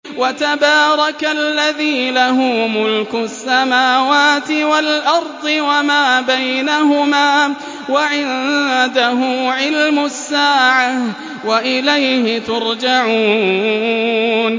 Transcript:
وَتَبَارَكَ الَّذِي لَهُ مُلْكُ السَّمَاوَاتِ وَالْأَرْضِ وَمَا بَيْنَهُمَا وَعِندَهُ عِلْمُ السَّاعَةِ وَإِلَيْهِ تُرْجَعُونَ